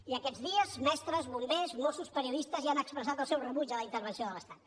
i aquests dies mestres bombers mossos periodistes ja han expressat el seu rebuig a la intervenció de l’estat